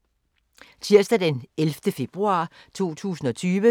Tirsdag d. 11. februar 2020